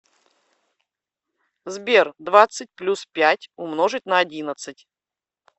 сбер двадцать плюс пять умножить на одиннадцать